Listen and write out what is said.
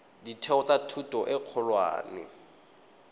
ditheo tsa thuto e kgolwane